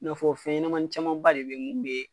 I n'a fɔ fɛn ɲɛnamani caman ba de bɛ yen mun bɛ